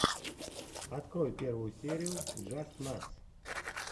открой первую серию джастнатс